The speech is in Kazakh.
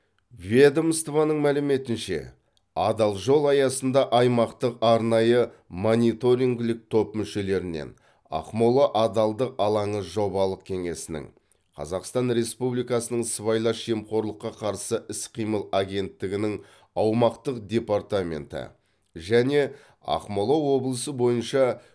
ведомствоның мәліметінше адал жол аясында аймақтық арнайы мониторингілік топ мүшелерінен ақмола адалдық алаңы жобалық кеңсесінің қазақстан республикасының сыбайлас жемқорлыққа қарсы іс қимыл агенттігінің аумақтық департаменті және ақмола облысы бойынша